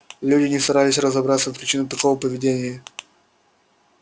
люди не старались разобраться в причинах такого поведения